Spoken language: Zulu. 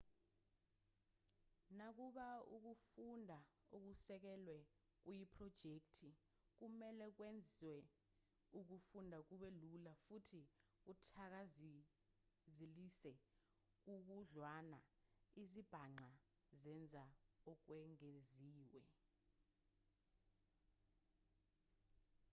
nakuba ukufunda okusekelwe kuyiphrojekthi kumelwe kwenze ukufunda kube lula futhi kuthakazelise kakhudlwana izibhaxa zenza okwengeziwe